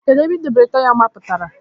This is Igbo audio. Ebee ka idobere taya mapụtara?